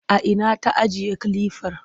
A ina ta ajiye kilifar?